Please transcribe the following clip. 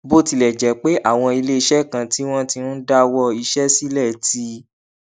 bó tilẹ jẹ pé àwọn ilé iṣé kan tí wọn ti ń dáwó iṣé sílè ti